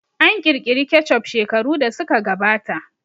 An ƙirƙiri kecup shekaru da suka gabata